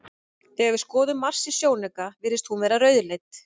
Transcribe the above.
Þegar við skoðum Mars í sjónauka virðist hún vera rauðleit.